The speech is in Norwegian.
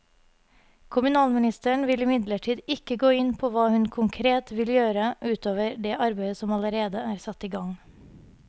Kommunalministeren vil imidlertid ikke gå inn på hva hun konkret vil gjøre ut over det arbeidet som allerede er satt i gang.